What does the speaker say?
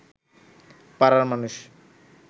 পাড়ার মানুষ